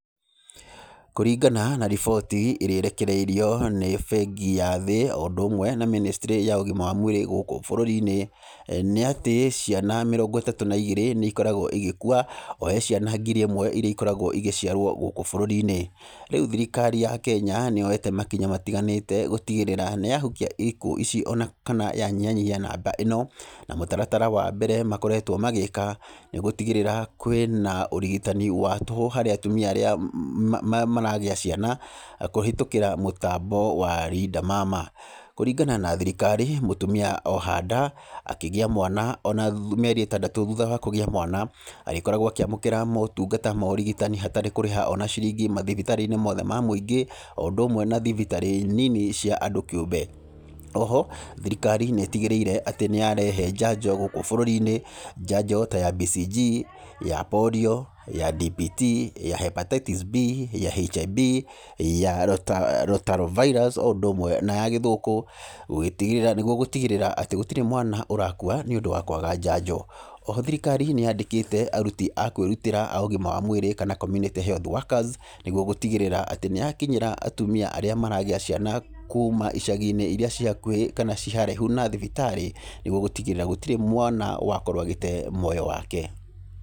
Kũringana na riboti ĩrĩa ĩrekereirio nĩ bengi ya thĩ o ũndũ ũmwe na ministry ya ũgima wa mwĩrĩ gũkũ bũrũri-inĩ, nĩatĩ ciana mĩrongo ĩtatũ na igĩrĩ nĩ ikoragwo igĩkua he ciana ngiri ĩmwe iria ikoragwo igĩciarwo gũkũ bũrũri-inĩ. Rĩu thirikari ya Kenya nĩyoete makinya matiganĩte gutigĩrĩra nĩ ya hukia ikuũ ici ona kana ya nyiha nyihia namba ĩno. Na mũtaratara wa mbere makoretwo magĩka nĩ gũtigĩrĩra kwĩna ũrigitani wa tũhũ harĩ atumia arĩa maragĩa ciana kũhitũkĩra mũtambo wa Linda Mama. Kũringana na thirikari mutumia oha nda, akĩgĩa mwana ona mĩeri ĩtandatũ thutha wa kũgĩa mwana, arĩkoragwo akĩamũkĩra motungata ma ũrigitani hatarĩ kũrĩha ona ciringi mathibitarĩ-inĩ mothe ma mũingĩ o ũndũ ũmwe na thibitarĩ nini cia andũ kĩũmbe. O ho thirikari nĩ ĩtigĩrĩire atĩ nĩyarehe njanjo gũkũ bũruri-inĩ, njanjo ta ya BCG, ya polio ,ya DPT, ya Hepatitis B, ya HIB , ya Rota rota virus o ũndũ ũmwe na ya gĩthũkũ, gũgĩtigĩrĩra, nĩguo gũgĩtigĩrĩra atĩ gũtirĩ mwana úrakua nĩũndũ wa kwaga njanjo. O ho thirikari nĩ yandĩkĩte aruti a kwĩrutĩra a ũgima wa mwĩrĩ kana community health workers, nĩguo gũtigĩrĩra atĩ nĩ ya kinyĩra atumia arĩa maragĩa ciana kuma icagi-inĩ iria ciĩ hakuĩ kana ci haraihu na thibitarĩ, nĩguo gũtigĩrĩra gutirĩ mwana wakorwo agĩte muoyo wake.